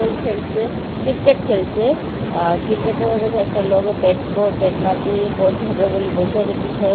বল খেলছে ক্রিকেট খেলছে আ ক্রিকেট -এর মধ্যে কয়েকটা লোক ব্যাট-ব-ব্যাট ম্যাচ -এ বল ধরবে বলে বসে আছে পিছনে।